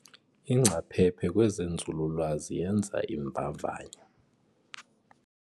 Ingcaphephe kwezenzululwazi yenza iimvavanyo.